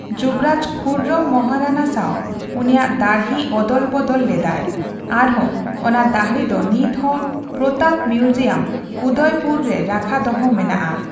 ᱡᱩᱵᱨᱟᱡᱽ ᱠᱷᱩᱨᱨᱚᱢ ᱢᱚᱦᱟᱨᱟᱱᱟ ᱥᱟᱣ ᱩᱱᱤᱭᱟᱜ ᱫᱟᱹᱲᱦᱤ ᱚᱫᱚᱞ ᱵᱚᱫᱚᱞ ᱞᱮᱫᱟᱭ ᱟᱨᱦᱚᱸ ᱚᱱᱟ ᱫᱟᱹᱲᱦᱤ ᱫᱚ ᱱᱤᱛᱦᱚᱸ ᱯᱨᱚᱛᱟᱯ ᱢᱤᱭᱩᱡᱤᱭᱟᱢ, ᱩᱫᱚᱭᱯᱩᱨ ᱮ ᱨᱟᱠᱷᱟ ᱫᱚᱦᱚ ᱢᱮᱱᱟᱜᱼᱟ ᱾